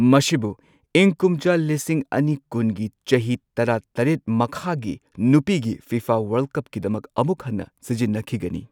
ꯃꯁꯤꯕꯨ ꯏꯪ ꯀꯨꯝꯖꯥ ꯂꯤꯁꯤꯡ ꯑꯅꯤ ꯀꯨꯟꯒꯤ ꯆꯍꯤ ꯇꯔꯥꯇꯔꯦꯠ ꯃꯈꯥꯒꯤ ꯅꯨꯄꯤꯒꯤ ꯐꯤꯐꯥ ꯋꯥꯔꯜꯗ ꯀꯞꯀꯤꯗꯃꯛ ꯑꯃꯨꯛ ꯍꯟꯅ ꯁꯤꯖꯤꯟꯅꯈꯤꯒꯅꯤ꯫